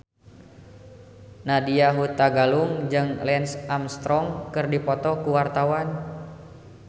Nadya Hutagalung jeung Lance Armstrong keur dipoto ku wartawan